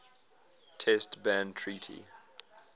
test ban treaty